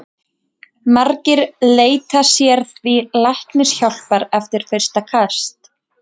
Margir leita sér því læknishjálpar eftir fyrsta kast.